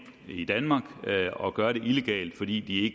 i danmark og gøre det illegalt fordi de